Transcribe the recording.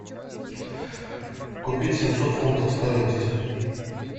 купить семьсот фунтов стоимость